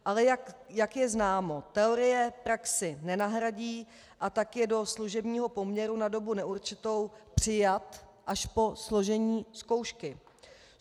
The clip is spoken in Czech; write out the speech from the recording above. Ale jak je známo, teorie praxi nenahradí, a tak je do služebního poměru na dobu neurčitou přijat až po složení zkoušky.